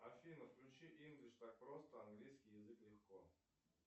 афина включи инглиш так просто английский язык легко